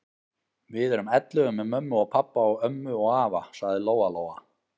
Við erum ellefu með mömmu og pabba og ömmu og afa, sagði Lóa-Lóa.